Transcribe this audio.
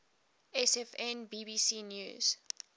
sfn bbc news